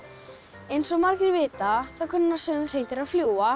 eins og margir vita kunna sum hreindýr að fljúga